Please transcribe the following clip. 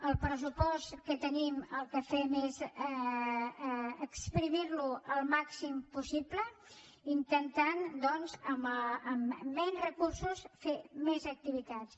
el pressupost que tenim el que fem és esprémerlo el màxim possible intentant doncs amb menys recursos fer més activitats